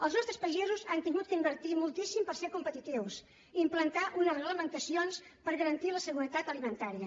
els nostres pagesos han hagut d’invertir moltíssim per ser competitius i implantar unes reglamentacions per garantir la seguretat alimentària